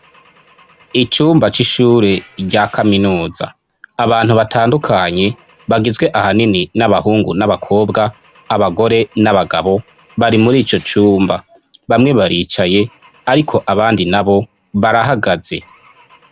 icyumba c'ishure rya kaminuza abantu batandukanye bagizwe ahanini n'abahungu n'abakobwa abagore n'abagabo bari muri icyo cyumba bamwe baricaye ariko abandi na bo barahagaze